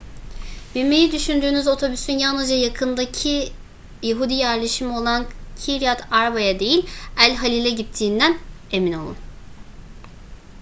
binmeyi düşündüğünüz otobüsün yalnızca yakındaki yahudi yerleşimi olan kiryat arba'ya değil el halil'e gittiğinden emin olun